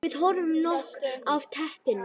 Við höfum nóg af teppum.